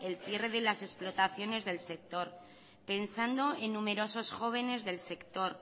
el cierre de las explotaciones del sector pensando en numerosos jóvenes del sector